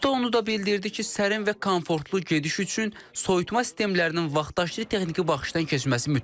Usta onu da bildirdi ki, sərin və komfortlu gediş üçün soyutma sistemlərinin vaxtaşırı texniki baxışdan keçməsi mütləqdir.